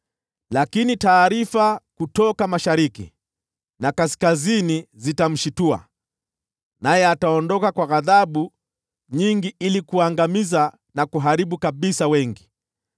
Lakini taarifa kutoka mashariki na kaskazini zitamshtua, naye ataondoka kwa ghadhabu nyingi ili kuangamiza na kuharibu kabisa wengi.